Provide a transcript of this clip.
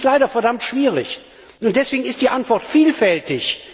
Es ist leider verdammt schwierig, und deshalb ist die Antwort vielfältig.